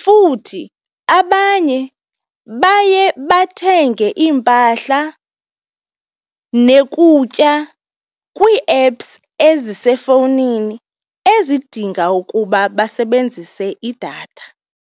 Futhi abanye baye bathenge iimpahla nokutya kwii-apps ezisefowunini ezidinga ukuba basebenzise idatha.